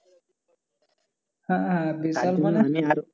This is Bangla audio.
হ্যা